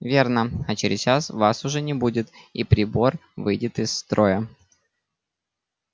верно а через час вас уже не будет и прибор выйдет из строя